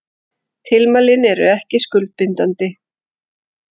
Tilmælin eru ekki skuldbindandi